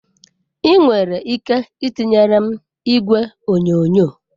Ị nwere ike itinyere m igwe onyonyo?